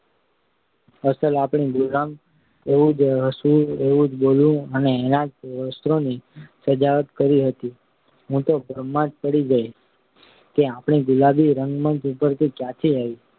અસલ આપણી ગુલાબ. એવું જ હસવું એવું જ બોલવું અને એનાં જ વસ્ત્રોની સજાવટ કરી હતી કે હું તો ભ્રમમાં જ પડી ગઈ કે આપણી ગુલાબ રંગમંચ ઉપર ક્યાંથી આવી